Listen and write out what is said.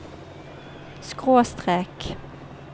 skråstrek